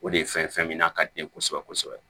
O de ye fɛn fɛn min n'a ka di ye kosɛbɛ kosɛbɛ